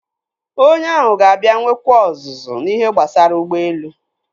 Onye ahụ ga-abịa nwekwa ọzụzụ n'ihe gbasara ụgbọelu.